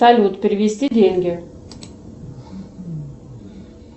салют перевести деньги